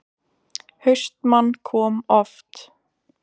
HAustmann kom oft.